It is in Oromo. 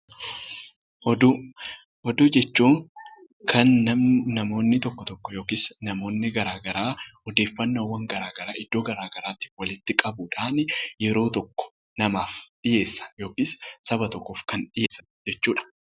Oduu Oduu jechuun kan nam namoonni tokko tokko yookiis namoonni garaagaraa odeeffannoowwan garaagaraa iddoo garaagaraatii walitti qabuudhaan yeroo tokko namaaf dhiyeessan yookiis saba tokkoof kan dhiyeessan jechuu dha.